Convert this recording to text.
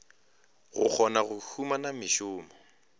go kgona go humana mešomo